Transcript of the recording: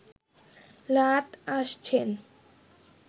লাট আসছেন